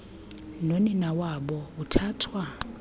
nonina wabo uthathwa